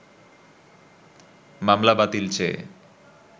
মামলা বাতিল চেয়ে